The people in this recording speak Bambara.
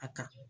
A ka